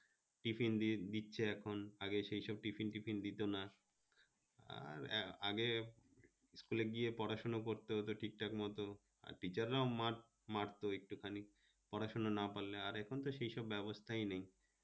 tiffen দিচ্ছে এখন আগে তো এইসব tiffen-thiffen দিত না, আর আগে school এ গিয়ে পড়াশোনা করতে হতো ঠিক-ঠাকমতো আর টিচারা ও মার মারতো একটু খানি পড়াশোনা না পারলে, আর এখন তো সেই সব ব্যবস্থাই নেই